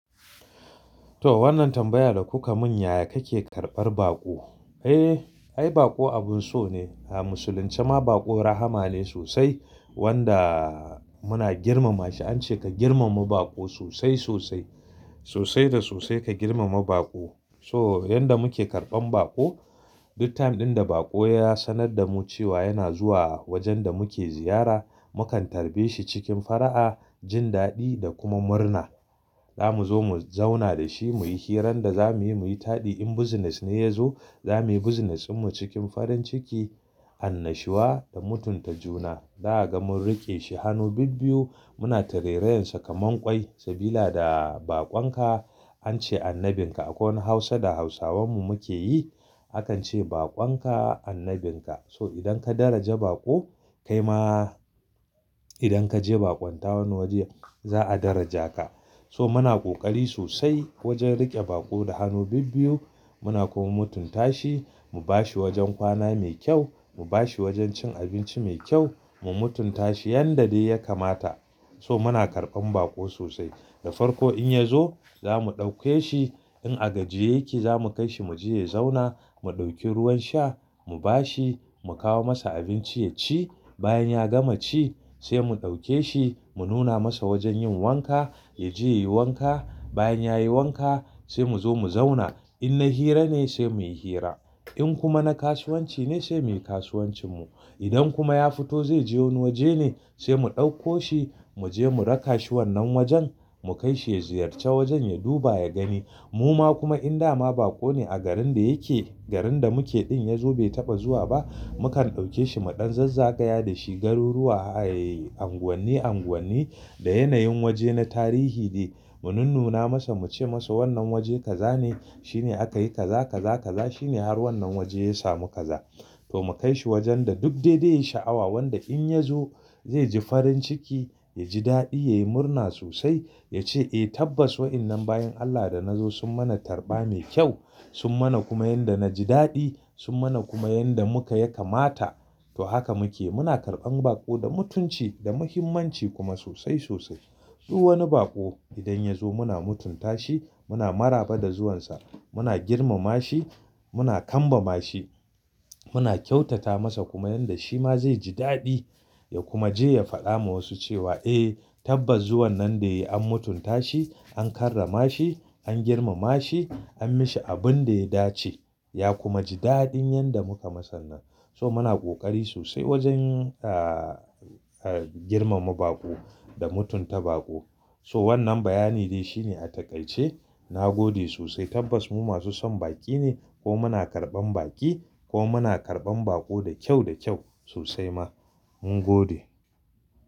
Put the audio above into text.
To wannan tambaya da kuka mun yaya kake karbar baƙo? Eh, ai baƙo abun so ne. A musulunce ma baƙo rahaama ne sosai wanda muna girmama shi. An ce ka girmama baƙo sosai sosai, sosai da sosai ka girmama baƙo. So yanda muke karban baƙo, duk time dinda baƙo ya sanar da mu cewa yana zuwa wajen da muke ziyara, mukan tarbe shi cikin fara'a, jin daɗi da kuma murna. Za mu zo mu zauna da shi, muyi hiran da za muyi, muyi taɗi. In business ne ya zo, za muyi business mu cikin farin ciki, annashuwa da mutunta juna. Da ya gama mun riƙe shi hannu bibbiyu, muna tere-rayen sa kamar ƙwai. Sabila da baƙon ka an ce annabin ka. Akwai wani Hausa da Hausawan mu muke yi, akan ce "Baƙon ka annabin ka." To idan ka daraja baƙo, kai ma idan ka je ka ɓakonta wani waje za'a daraja ka. So muna ƙoƙari sosai wajen riƙe baƙo da hannu bibbiyu. Muna kuma mutunta shi, mu bashi wajen kwana mai kyau, mu bashi wajen cin abinci mai kyau, mu mutunta shi yanda dai ya kamata. So muna karɓan baƙo sosai. Da farko in ya zo, za mu ɗauke shi in a gajiye yake, za mu kai shi muji ya zauna, mu ɗauki ruwan sha, mu ba shi, mu kawo masa abinci ya ci. Bayan ya gama ci sai mu ɗauke shi, mu nuna masa wajen yin wanka, ya je ya yi wanka. Bayan ya yi wanka sai mu zo mu zauna. In na hira ne sai muyi hira. In kuma na kasuwanci ne sai muyi kasuwancin mu. Idan kuma ya fito zai je wani waje ne sai mu ɗauko shi, mu je mu raka shi wannan wajen, mu kai shi ya ziyarci wajen, ya duba ya gani. Mu ma kuma in dama baƙo ne a garin da yake, garin da muke din ya zo bai taɓa zuwa ba, mukan ɗauke shi mu ɗan zazzaga ya dashi garuruwa, ayyi anguwanni-anguwanni da yanayin waje na tarihi dai. Mun nuna masa muce masa wannan waje kaza ne shine aka yi kaza kaza kaza shine har wannan waje ya samu kaza. To mu kai shi wajen da duk dai-dai ya sha'awa wanda in ya zo zai ji farin ciki, ya ji daɗi, ya yi murna sosai. Ya ce "Eh tabbas wa'ennan bayin Allah da na zo sun mana tarba mai kyau. Sun mana kuma yanda na ji daɗi. Sun mana kuma yanda muka ya kamata." To haka muke. Muna karɓan baƙo da mutunci da muhimmanci kuma sosai sosai. Duk wani baƙo idan ya zo muna mutunta shi, muna maraba da zuwan sa, muna girmama shi, muna kamba ma shi, muna kyautata masa kuma yanda shi ma zai ji daɗi ya kuma je ya faɗa ma wasu cewa "Eh tabbas zuwan nan da yayi an mutunta shi, an karrama shi, an girmama shi, an mishi abun da ya dace." Ya kuma ji daɗin yanda muka masa nan. So muna ƙoƙari sosai wajen ah, ah girma ma baƙo da mutunta baƙo. So wannan bayani dai shine a takaice. Na gode sosai. Tabbas mu masu son baƙi ne ko muna karɓan baƙi ko muna karɓan baƙo da kyau da kyau sosai ma. Mun gode.